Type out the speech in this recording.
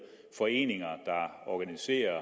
foreninger der organiserer